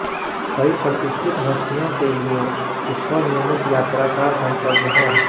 कई प्रतिष्ठित हस्तियों के लिए इस्कॉन नियमित यात्रा का गंतव्य है